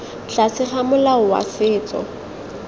tlase ga molao wa setso